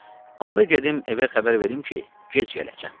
Onda gedim evə xəbər verim ki, gec gələcəm.